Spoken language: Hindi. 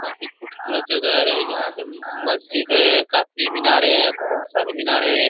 काफी खूबसूरत जगह है। यहाँ पे मस्जिद है ए काफी मिनारें हैं बहोत सारी मिनारें हैं।